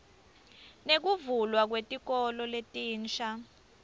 nekuvulwa kwetikolo letinsha